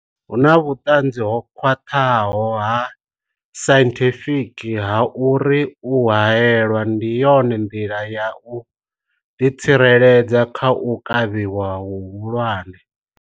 Hu na vhuṱanzi ho khwaṱhaho ha sainthifiki ha uri u haelwa ndi yone nḓila ya u ḓitsireledza kha u kavhiwa hu hulwane.